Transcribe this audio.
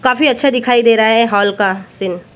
काफी अच्छा दिखाई दे रहा है हॉल का सीन --